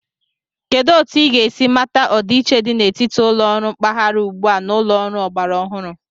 Kedu otu ị ga-esi mata ọdịiche dị n'etiti ụlọ ọrụ mpaghara ugbua a na ụlọ ọrụ ọgbara ọhụrụ?